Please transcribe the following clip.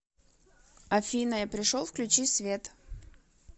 афина я пришел включи свет